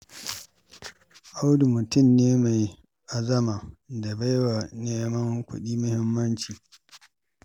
Audu mutum ne mai azama da baiwa neman kuɗi muhimmanci.